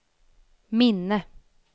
minne